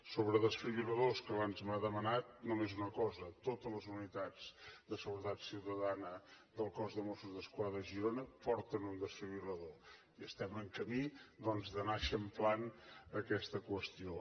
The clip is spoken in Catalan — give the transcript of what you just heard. sobre desfibril·ladors que abans m’ho ha demanat només una cosa totes les unitats de seguretat ciutadana del cos de mossos d’esquadra a girona porten un desfibril·lador i estem en camí doncs d’anar eixamplant aquesta qüestió